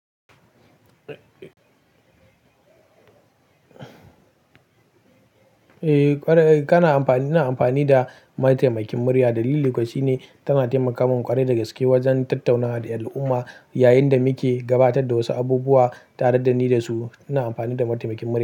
Eh, ƙwarai-- kana amfani, ina amfani da mataimakin murya dalili kuwa shine tana taimaka mun ƙware da gaske wajen tattaunawa da al'umma yayin da muke gabatar da wasu abubuwa tare da ni da su. Ina amfani da mataimakin murya.